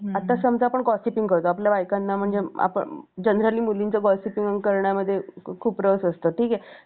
आता समजा आपण gossiping करतोय म्हणजे आपल्या बायकांना जनरली मुलींच्या gossiping करण्यामध्ये खूप रस असतात